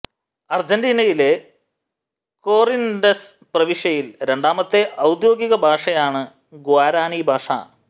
അർജന്റീനയിലെ കോറിന്റസ് പ്രവിശ്യയിൽ രണ്ടാമത്തെ ഔദ്യോധിക ഭാഷയാണ് ഗ്വാരാനീ ഭാഷ